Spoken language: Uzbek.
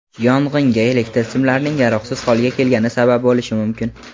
yong‘inga elektr simlarining yaroqsiz holga kelgani sabab bo‘lishi mumkin.